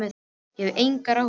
En ég hef áhyggjur af engum.